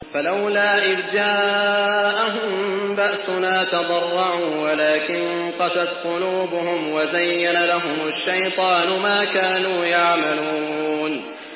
فَلَوْلَا إِذْ جَاءَهُم بَأْسُنَا تَضَرَّعُوا وَلَٰكِن قَسَتْ قُلُوبُهُمْ وَزَيَّنَ لَهُمُ الشَّيْطَانُ مَا كَانُوا يَعْمَلُونَ